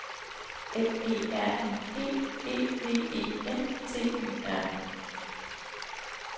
F E R I E E V E N T Y R